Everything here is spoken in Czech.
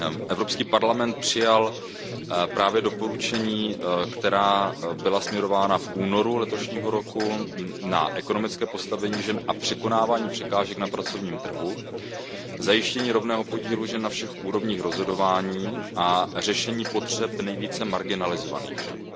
Evropský parlament přijal právě doporučení, která byla směrována v únoru letošního roku na ekonomické postavení žen a překonávání překážek na pracovním trhu, zajištění rovného podílu žen na všech úrovních rozhodování a řešení potřeb nejvíce marginalizovaných žen.